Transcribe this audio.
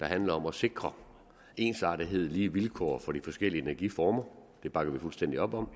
handler om at sikre ensartethed og lige vilkår for de forskellige energiformer det bakker vi fuldstændig op om